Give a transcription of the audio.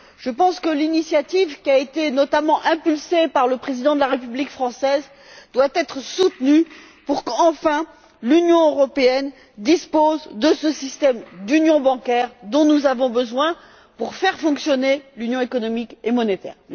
Je pense que l'initiative, qui a notamment été engagée par le Président de la République française, doit être soutenue pour que, enfin, l'Union européenne dispose de ce système d'union bancaire dont nous avons besoin pour faire fonctionner l'Union économique et monétaire.